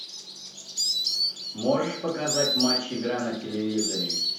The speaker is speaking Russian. можешь показать матч игра на телевизоре